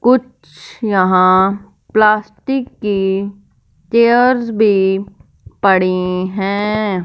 कुछ यहां प्लास्टिक की चेयर भी पड़ी हैं।